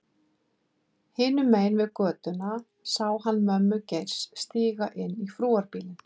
Hinum megin við götuna sá hann mömmu Geirs stíga inn í frúarbílinn.